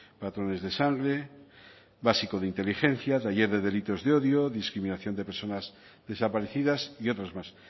patrones de sangre básico de inteligencia taller de delitos de odio discriminación de personas desaparecidas y otros más